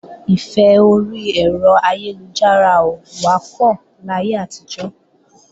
Ìfẹ́ orí ẹ̀rọ ayélujára ò wọ́pọ̀ láyé àtijọ́